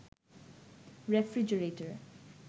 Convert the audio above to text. refrigerator